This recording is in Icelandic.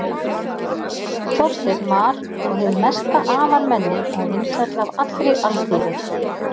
þorsteinn var og hið mesta afarmenni og vinsæll af allri alþýðu